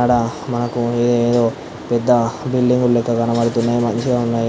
ఆడ మనకి ఒక పెద్ద బిల్డింగ్ కనబడుతుంది మంచిగా ఉంది.